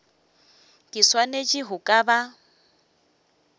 ke swanetše go ka ba